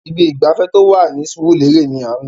Ibi ìgbafẹ́ tó wà Surulere ni à ń lọ.